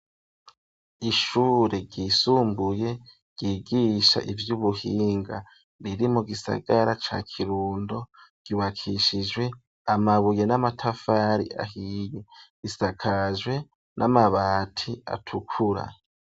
Ishure ryisumbuye ryigisha ivy'ubuhinga riri mu gisagara ca Kirundo ryubakishijwe amabuye n'amatafari ahiye, risakajwe n'amabati atukura.